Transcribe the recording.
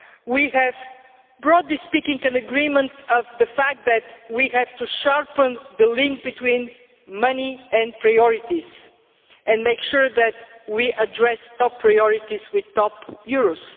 We have, broadly speaking, an agreement on the fact that we have to sharpen the link between money and priorities and make sure that we address top priorities with top euros.